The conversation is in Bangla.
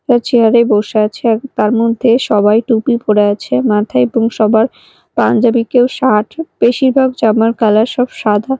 ও চেয়ার -এ বসে আছে এক তার মধ্যে সবাই টুপি পরে আছে মাথা এবং সবার পাঞ্জাবি কেউ শাট বেশিরভাগ জামার কালার সব সাদা।